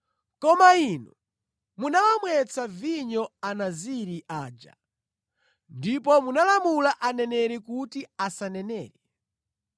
“Koma inu munawamwetsa vinyo anaziri aja, ndipo munalamula aneneri kuti asanenere.